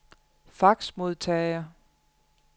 faxmodtager